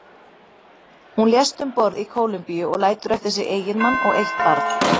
Hún lést um borð í Kólumbíu og lætur eftir sig eiginmann og eitt barn.